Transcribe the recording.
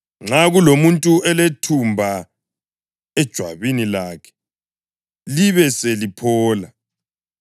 Nxa kulomuntu olethumba ejwabini lakhe libe seliphola,